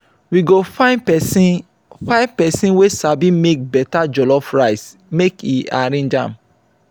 we go find pesin find pesin wey sabi make beta jollof rice make e arrange am.